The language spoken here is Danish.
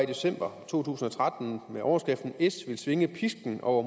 december to tusind og tretten med overskriften s vil svinge pisken over